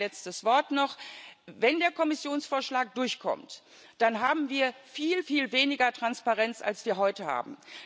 Ein letztes Wort noch Wenn der Kommissionsvorschlag durchkommt, dann haben wir viel, viel weniger Transparenz, als wir heute haben.